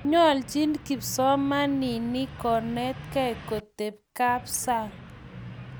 nyolchin kipsomaninik konetkei koteekab sang